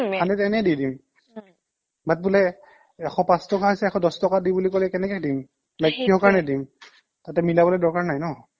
আমি যে এনে দি দিও but বোলে এশ পাচ টকা হৈছে এশ দছ টকা দি বুলি ক'লে কেনেকে দিম like কিহৰ কাৰণে দিম তাতে মিলাবলে দৰকাৰ নাই ন